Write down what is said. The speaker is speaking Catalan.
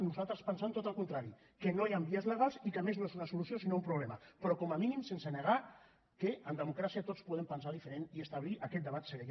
nosaltres pensem tot el contrari que no hi han vies legals i que a més no és una solució sinó un problema però com a mínim sense negar que en democràcia tots podem pensar diferent i establir aquest debat serè